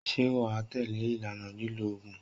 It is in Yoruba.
Ṣé wà á tẹ̀lé ìlànà ìlò oògùn?